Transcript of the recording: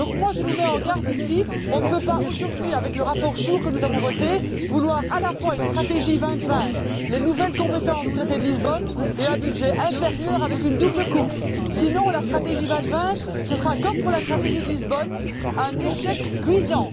Je nous mets donc en garde ici on ne peut pas, aujourd'hui, avec le rapport SURE que nous avons voté, vouloir à la fois une stratégie 2020, les nouvelles compétences du traité de Lisbonne et un budget inférieur avec une double coupe. Sinon il en sera de la stratégie 2020 comme de la stratégie de Lisbonne un échec cuisant.